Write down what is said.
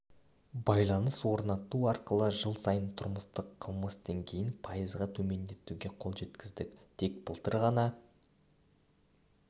байланыс орнату арқылы жыл сайын тұрмыстық қылмыс деңгейін пайызға төмендетуге қол жеткіздік тек былтыр ғана